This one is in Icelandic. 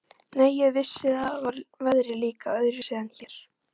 Nei, en þar var veðrið líka öðruvísi en hér.